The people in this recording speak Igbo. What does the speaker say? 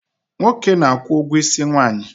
Nwoke n' akwụ ụgwọ isi nwanyị